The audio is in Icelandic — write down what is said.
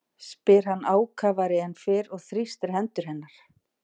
spyr hann ákafari en fyrr og þrýstir hendur hennar.